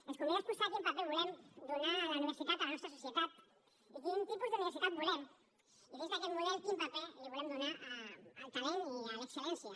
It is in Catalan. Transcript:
ens convida a exposar quin paper volem donar a la universitat a la nostra societat i quin tipus d’universitat volem i dins d’aquest model quin paper volem donar al talent i a l’excel·lència